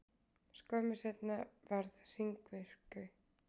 Skömmu seinna varð hringmyrkvi.